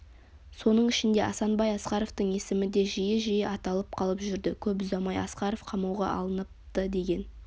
соның ішінде асанбай асқаровтың есімі де жиі-жиі аталып қалып жүрді көп ұзамай асқаров қамауға алыныпты деген